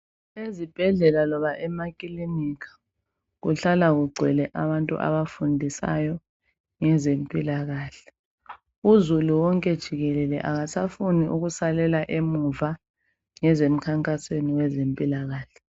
Izibhedlela loba emakilinika kuhlala kugcwele abantu abafundisayo ngezempilakahle. Uzulu wonke jikelele akasafuni ukusalela emuva ngezemkhankasweni wezempilakahle.